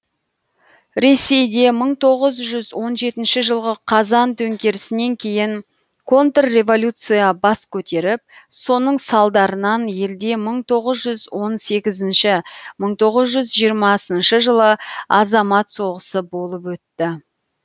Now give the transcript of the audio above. ресейде мың тоғыз жүз он жетінші жылғы қазан төңкерісінен кейін контрреволюция бас көтеріп соның салдарынан елде мың тоғыз жүз он сегізінші мың тоғыз жүз жиырмасыншы жылы азамат соғысы болып өтті